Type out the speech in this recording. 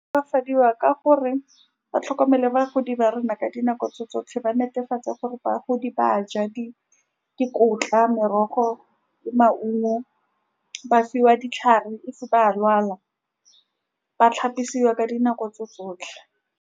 Tokafadiwa ka gore batlhokomedi ba bagodi ba rona ka dinako tse tsotlhe, ba netefatsa gore bagodi ba ja di dikotla, merogo le maungo ba fiwa ditlhare. If ba lwala ba tlhapisiwa ka dinako tse tsotlhe.